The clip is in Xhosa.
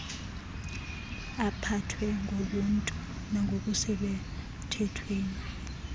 aphathwe ngobuntu nangokusemthethweni